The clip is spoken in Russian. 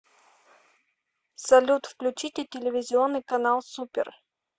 салют включите телевизионный канал супер